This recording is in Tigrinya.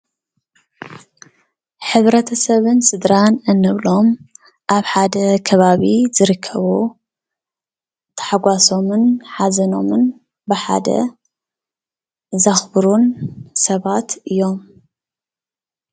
ሕብረተሰብን ስድራን እንብሎም ኣብ ሓደ ከባቢ ዝርከቡ ተሓጓሶምን ሓዘኖምን ብሓደ ዘኽብሩን ሰባት እዮም፡፡